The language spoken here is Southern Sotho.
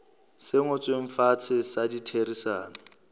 se ngotsweng fatshe sa ditherisano